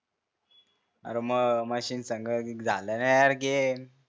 मह मशिनसंग झालं ना यार गेम